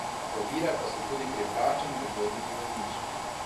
Ovire pa so tudi pri vračanju vodnih zemljišč.